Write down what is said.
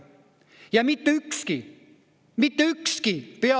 Ja mitte ükski – mitte ükski!